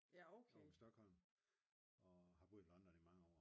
Ovre ved Stockholm og har boet i London i mange år